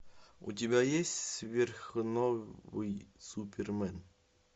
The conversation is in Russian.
у тебя есть сверхновый супермен